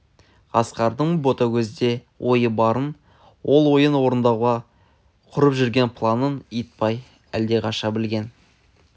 асқардың ботагөзде ойы барын ол ойын орындауға құрып жүрген планын итбай әлде қашан білген